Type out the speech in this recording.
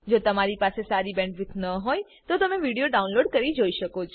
જો તમારી પાસે સારી બેન્ડવિડ્થ ન હોય તો તમે વિડીયો ડાઉનલોડ કરીને જોઈ શકો છો